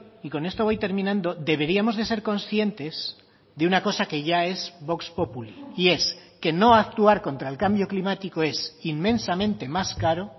y con esto voy terminando deberíamos de ser conscientes de una cosa que ya es vox populi y es que no actuar contra el cambio climático es inmensamente más caro